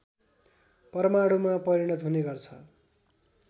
परमाणुमा परिणत हुनेगर्छ